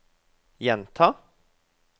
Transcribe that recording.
gjenta